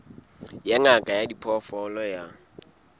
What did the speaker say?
ya ngaka ya diphoofolo ya